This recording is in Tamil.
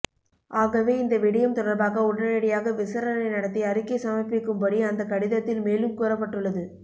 ஆகவே இந்த விடயம் தொடர்பாக உடனடியாக விசாரணை நடாத்தி அறிக்கை சமர்ப்பிக்கும்படி அந்த கடிதத்தில் மேலும் கூறப்பட்டுள்ளது